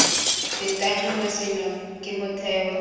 fetang nngwe seno ke motheo